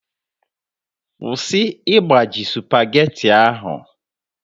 Kwụsị igbaji spageti ahụ!